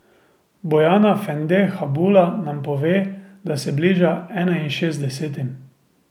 Bojana Fende Habula nam pove, da se bliža enainšestdesetim.